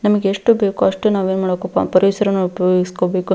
ನಮಗೆ ಎಷ್ಟು ಬೇಕು ಅಷ್ಟ್ ನಾವೇನ್ ಮಾಡ್ಬೇಕಪ್ಪ ಅಂದ್ರೆ ಪರಿಸರನ ಉಪಯೋಗಿಸ್ಕೊಬೇಕು.